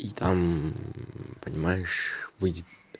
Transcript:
и там понимаешь выйдет